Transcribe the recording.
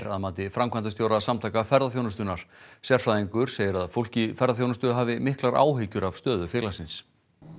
að mati framkvæmdastjóra Samtaka ferðaþjónustunnar sérfræðingur segir að fólk í ferðaþjónustu hafi miklar áhyggjur af stöðu félagsins